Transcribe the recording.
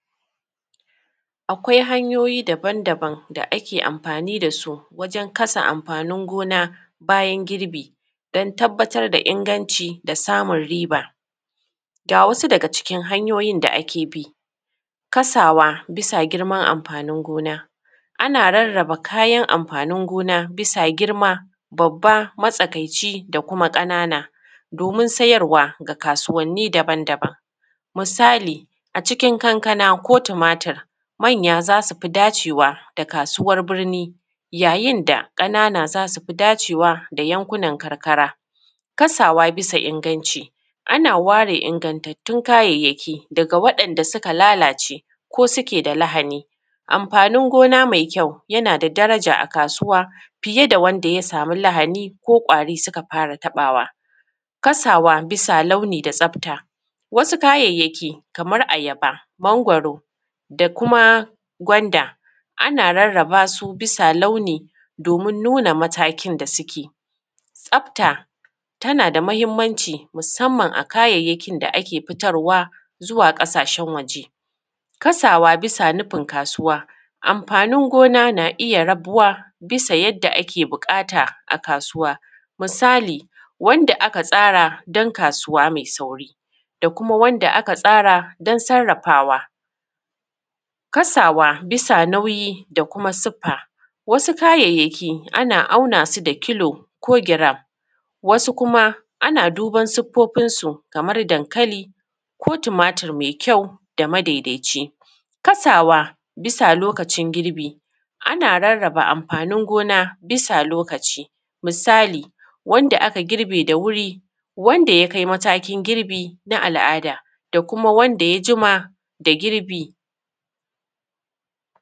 Akwai hanyoyi daban daban da ake amfani da su wajan kasa amfanin gona bayan girbi don tabbatar da inganci da samun riba. Ga wasu daga cikin hanyoyin da ake bi. Kasawa bisa girman amfanin gona. Ana rarraba kayan amfanin gona bisa girma babba, matsakaici, da kuma ƙanana, domin sayarwa ga kasuwanni daban daban. Misali a cikin kankana ko tumatur manya za su fi dacewa ga kasuwar birni, yayin da ƙanana za su fi dacewa a yankunan karkara. Kasawa bisa inganci ana ware inganttun kayayyaki daga waɗanda suka lalace ko suke da lahani. Amfanin gona mai kyau yana da daraja a kasuwa fiye da wanda ya samu lahani, ko ƙwari suka fara taɓawa. Kasawa bisa launi da tsafta. wasu kayayyaki kaman ayaba, mangwaro da kuma gwanda ana rarraba su bisa launi domin nuna matakin da suke. Tsafta tana da muhimmanci musamman a kayayyakin da ake futarwa zuwa ƙasashen waje. Kasawa bisa nufin kasuwa, amfanin gona na iya rabuwa bisa yanda ake buƙata a kasuwa, misali wanda aka tsara don kasuwa mai sauri ,da kuma wanda aka tsara don sarrafawa. Kasawa bisa nauyi da kuma siffa, wasu kayayyaki ana auna su da kilo ko gram, wasu kuma ana duban siffofin su kaman dankali, ko tumatur mai kyau da madaidaici. Kasawa bisa lokacin girbi, ana rarraba amfanin gona bisa lokaci. Misali wanda aka girbe da wuri, wanda ya kai matakin girbi na al’ada da kuma wanda ya jima da girbi.